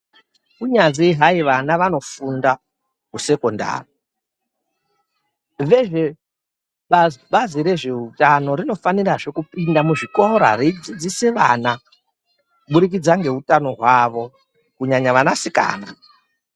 Kunyanzi vana vanofunda kusekondari, zvinezvi Bazi rezveutano rinofanirazve kupinda muzvikora reidzidzise vana kuburikidza ngezveutano hwawo kunyanya vanasikana.